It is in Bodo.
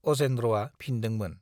अजेन्द्रआ फिन्दोंमोन।